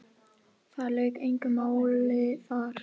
Það lauk engu máli þar.